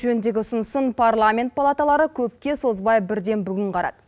жөніндегі ұсынысын парламент палаталары көпке созбай бірден бүгін қарады